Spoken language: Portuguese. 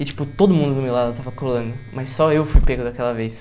E, tipo, todo mundo do meu lado estava colando, mas só eu fui pego daquela vez.